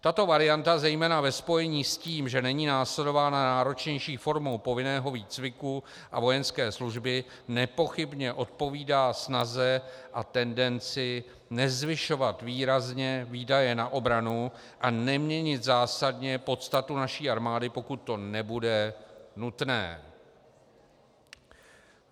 Tato varianta zejména ve spojení s tím, že není následována náročnější formou povinného výcviku a vojenské služby, nepochybně odpovídá snaze a tendenci nezvyšovat výrazně výdaje na obranu a neměnit zásadně podstatu naší armády, pokud to nebude nutné.